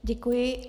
Děkuji.